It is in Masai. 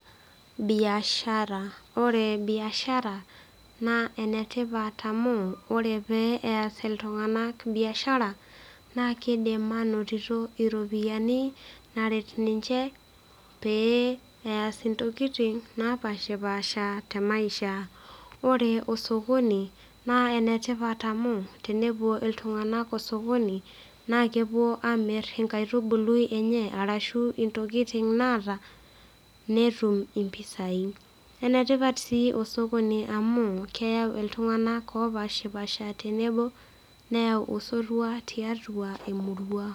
Biashara ore biashara naa enetipat amu ore pee eyas iltung'anak biashara naa kidim anotito iropiyiani naret ninche pee eyas intokiting napashipasha te maisha ore osokoni naa enetipat amu tenepuo iltung'anak osokoni naa kepuo amirr inkaitubului enye arashu intokiting naata netum impisai enetipat sii osokoni amu keyau iltung'anak opashipasha tenebo neyau osotua tiatua emurua.